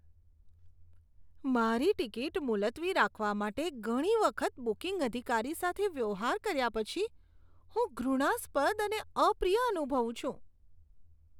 મારી ટિકિટ મુલતવી રાખવા માટે ઘણી વખત બુકિંગ અધિકારી સાથે વ્યવહાર કર્યા પછી હું ઘૃણાસ્પદ અને અપ્રિય અનુભવું છું.